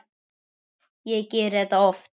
Ég geri þetta oft.